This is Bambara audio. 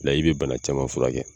Layi bɛ bana caman furakɛ